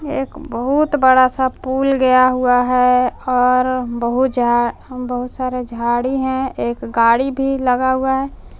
एक बहुत बड़ा सा पूल गया हुआ है और बहुत झा बहुत सारा झाड़ी हैं एक गाड़ी भी लगा हुआ है।